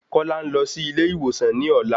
Kọ́lá ń lọ sí ilé ìwòsan ní ọ̀la.